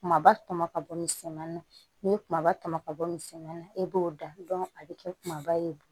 Kumaba tɔmɔ ka bɔ misɛnmanin na n'i ye kumaba tɔmɔ ka bɔ misɛn na e b'o dan a bɛ kɛ kumaba ye